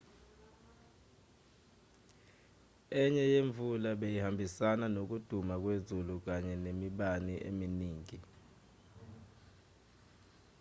enye yemvula beyihambisana nokuduma kwezulu kanye nemibani eminingi